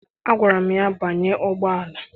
Agwara m ya, banye ụgbọala!